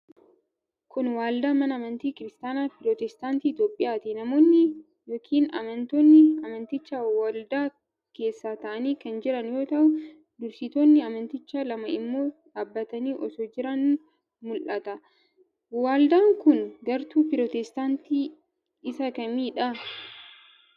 Kun, waldaa mana amantii Kiristaana pirootestaantii Itoophiyaati. Namoonni yokinamantoonni amantichaa waldaa keessa ta'anii kan jiran yoo ta'u, dursitoonni amantichaa lama immoo dhaabbatanii osoo jiranii mul'atu. Waldaan kun, gartuu pirootestaantii isa kamii dha?